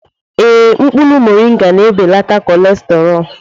Ee, mkpụrụ moringa ga-ebelata cholesterol.